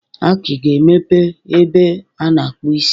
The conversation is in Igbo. Aki ga-emepe ebe a na-akpụ isi.